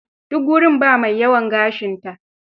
Duk gurin ba mai yawan gashinta.